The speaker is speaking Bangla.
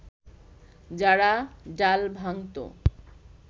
যারা ডাল ভাঙতো